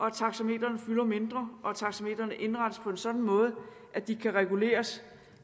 at taxametrene fylder mindre og at taxametrene indrettes på en sådan måde at de kan reguleres